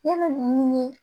I bɛ nin ɲini